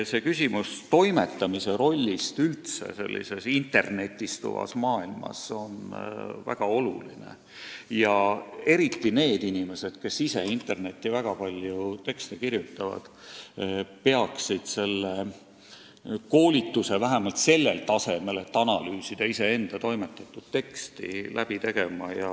Seega küsimus toimetamise rollist internetistuvas maailmas on väga oluline ja eriti need inimesed, kes internetti väga palju tekste kirjutavad, peaksid läbi tegema koolituse vähemalt sellel tasemel, et suuta analüüsida iseenda teksti.